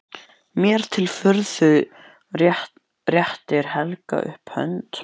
Mér til furðu réttir Helgi upp hönd.